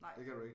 Det kan du ikke